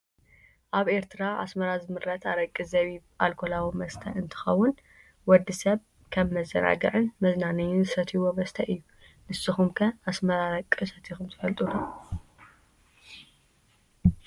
ኣብ ኤርትራ ኣስመራ ዝምረት ኣረቂ ዜቢብ ኣልኮላዊ መስተ እንተከውን፣ ወዲ ሰብ ከም መዘናግዒን መዝናነይን ዝሰትይዎ መስተ እዩ። ንስኩም ከ ናይ ኣስመራ ኣረቂ ሰቲኩም ትፈልጡ ዶ ?